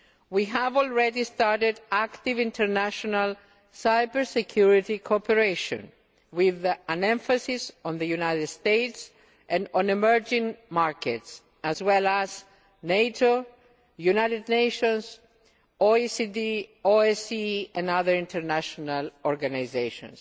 We have already started active international cyber security cooperation, with an emphasis on the United States and on emerging markets as well as NATO, the United Nations, OECD, OSCE and other international organisations.